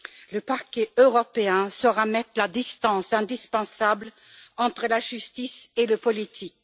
Le Parquet européen saura mettre la distance indispensable entre la justice et le politique.